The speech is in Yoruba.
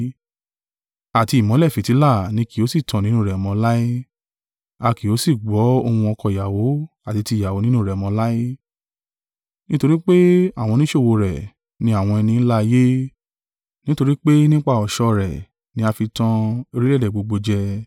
Àti ìmọ́lẹ̀ fìtílà ni kì yóò sì tàn nínú rẹ̀ mọ́ láé; a kì yóò sì gbọ́ ohùn ọkọ ìyàwó àti ti ìyàwó nínú rẹ mọ́ láé: nítorí pé àwọn oníṣòwò rẹ̀ ni àwọn ẹni ńlá ayé; nítorí pé nípa ọ̀ṣọ́ rẹ̀ ní a fi tàn orílẹ̀-èdè gbogbo jẹ.